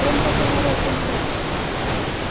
прям как на рок-концерте